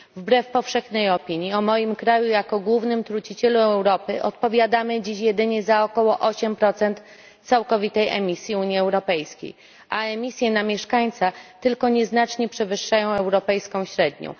Wbrew powszechnej opinii o moim kraju jako głównym trucicielu Europy odpowiadamy dziś jedynie za około 8 całkowitej emisji Unii Europejskiej, a emisje na mieszkańca tylko nieznacznie przewyższają europejską średnią.